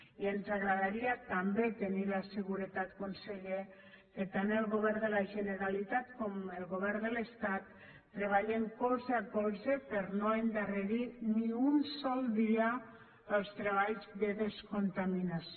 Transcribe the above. i ens agradaria també tenir la seguretat conseller que tant el govern de la generalitat com el govern de l’estat treballen colze a colze per no endarrerir ni un sol dia els treballs de descontaminació